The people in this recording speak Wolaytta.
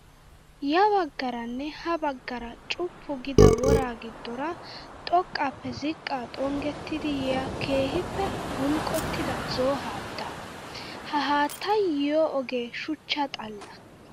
Ya baggaaranne ha baggaara cuppu giida woraa giddoora xoqqaappe ziqqaa xonggettiiddi yiyaa keehippe bulqqotida zo''o haattaa. Ha haattayi yiyoo ogee shuchcha xalla.